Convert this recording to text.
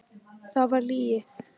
Það var lygi.